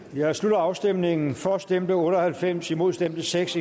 jeg slutter afstemningen for stemte otte og halvfems imod stemte seks